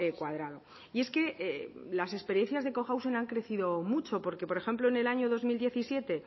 cuadrado y es que las experiencias de cohousing han crecido mucho porque por ejemplo en el año dos mil diecisiete